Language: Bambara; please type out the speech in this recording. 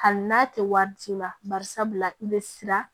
Hali n'a tɛ wari ci i ma barisabula i bɛ siran